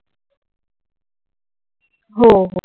हो हो.